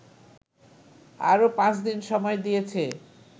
আরো ৫দিন সময় দিয়েছে